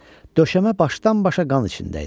Döşəmə başdan-başa qan içində idi.